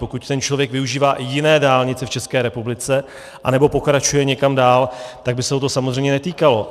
Pokud ten člověk využívá i jiné dálnice v České republice anebo pokračuje někam dál, tak by se ho to samozřejmě netýkalo.